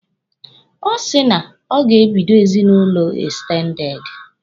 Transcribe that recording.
Ọ sị na o ga-ebido ezinụlọ ekstendede.